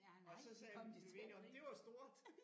Og så sagde jeg blev vi enige om det var stort